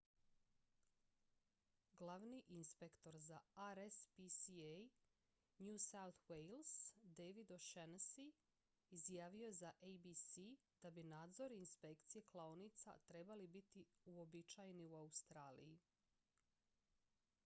glavni inspektor za rspca new south wales david o'shannessy izjavio je za abc da bi nadzor i inspekcije klaonica trebali biti uobičajeni u australiji